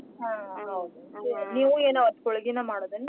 ಹ್ಮ್ ನೀವೂ ಅವತ್ ಹೋಳ್ಗಿನ ಮಾಡೋದೇನ್ರಿ.